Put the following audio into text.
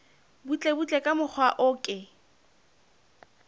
butlebutle ka mokgwa o ke